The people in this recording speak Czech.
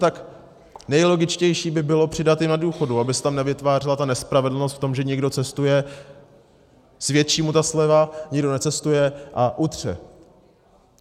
Tak nejlogičtější by bylo přidat jim na důchodu, aby se tam nevytvářela ta nespravedlnost v tom, že někdo cestuje, svědčí mu ta sleva, někdo necestuje a utře.